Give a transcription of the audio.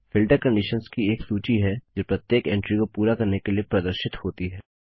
filter conditions की एक सूची है जो प्रत्येक एंटरी को पूरा करने के लिए प्रदर्शित होती है